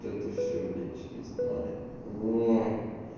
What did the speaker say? то это все блять не знаю ой